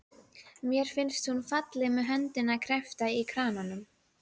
Mér finnst hún falleg með höndina kreppta um kranann.